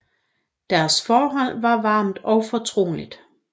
Deres forhold var varmt og fortroligt